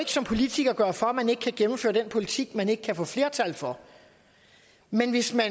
som politiker gøre for at man ikke kan gennemføre den politik man ikke kan få flertal for men hvis man